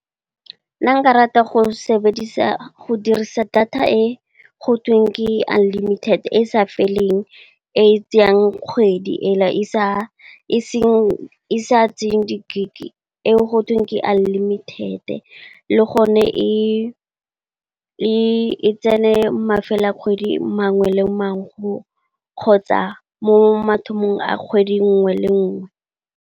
Nna nka rata go dirisa data e go tweng ke unlimited e e sa feleng, e tseyang kgwedi e sa tseyeng di gigabytes eo go tweng ke unlimited le gone, e tsene mafelo a kgwedi mangwe le mangwe, kgotsa mo mathomong a kgwedi nngwe le nngwe.